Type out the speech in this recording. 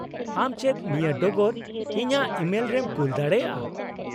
-ᱟᱢ ᱪᱮᱫ ᱱᱤᱭᱟᱹ ᱰᱚᱜᱚᱨ ᱤᱧᱟᱹᱜ ᱤᱢᱮᱞ ᱨᱮᱢ ᱠᱩᱞ ᱫᱟᱲᱮᱭᱟᱜᱼᱟ ?